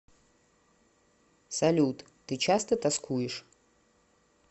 салют ты часто тоскуешь